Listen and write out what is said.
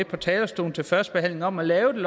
på talerstolen til første behandling om at lave